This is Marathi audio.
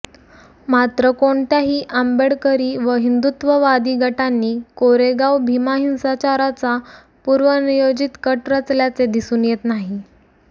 मात्र कोणत्याही आंबेडकरी व हिंदुत्ववादी गटांनी कोरेगाव भीमा हिंसाचाराचा पूर्वनियोजित कट रचल्याचे दिसून येत नाही